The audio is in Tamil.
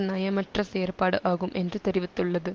நயமற்ற செயற்பாடு ஆகும் என்று தெரிவித்துள்ளது